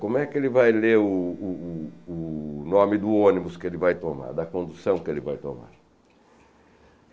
Como é que ele vai ler o o o o nome do ônibus que ele vai tomar, da condução que ele vai tomar?